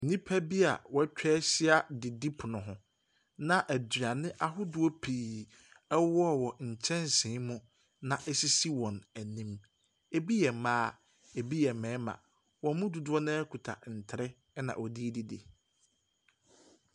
Nnipa bia wɛtwahyia didipono ho, na aduane ahodoɔ pii ɛwowɔwɔ nkyɛnse mu na esisi wɔn anim. Ebi yɛ mmaa, ebi yɛ mmarima. Wɔn mu dodoɔ naa kuta ntere ɛna wɔdedidi.